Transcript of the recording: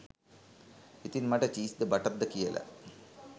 ඉතින් මට චීස් ද බටර්ද කියල